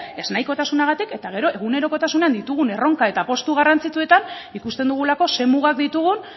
ez nahikotasunagatik eta gero egunerokotasunean ditugun erronka eta apustu garrantzitsuetan ikusten dugulako ze mugak ditugun